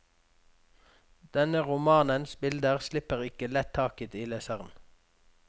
Denne romanens bilder slipper ikke lett taket i leseren.